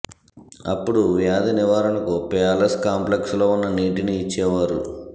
అప్పుడు వ్యాధి నివారణకు ప్యాలెస్ కాంప్లెక్స్ లో ఉన్న నీటి ని ఇచ్చేవారు